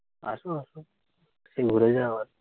আসো, আসো। এসে ঘুরে যাও আরকি।